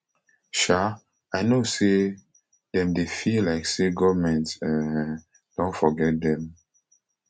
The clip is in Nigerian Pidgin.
um i know say dem dey feel like say goment um don forget dem